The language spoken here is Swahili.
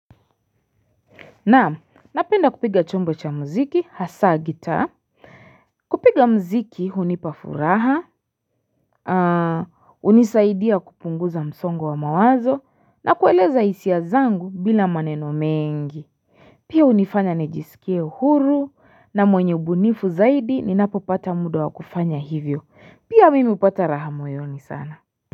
Na'am, napenda kupiga chombo cha muziki, hasa gitaa. Kupiga muziki, hunipa furaha. Hunisaidia kupunguza msongo wa mawazo, na kueleza hisia zangu bila maneno mengi. Pia hunifanya nijisikie huru, na mwenye ubunifu zaidi, ninapopata muda wa kufanya hivyo. Pia mimi hupata raha moyoni sana.